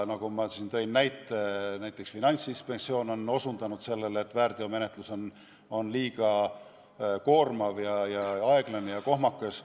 Nagu ma tõin näite, näiteks Finantsinspektsioon on osutanud sellele, et väärteomenetlus on liiga koormav, aeglane ja kohmakas.